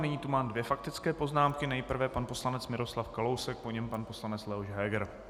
Nyní tu mám dvě faktické poznámky - nejprve pan poslanec Miroslav Kalousek, po něm pan poslanec Leoš Heger.